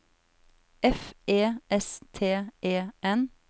F E S T E N